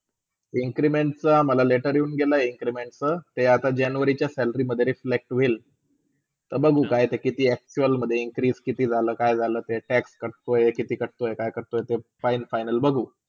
increment च्या मला letter येऊन गेला increment च्या आता ते january च्य salary मधे reflect होईल. ते बघू काय कित्ती actual मधे increase काय कित्ती झाला काय झाला tax काय काटतोय करतोय ते पायें final बघू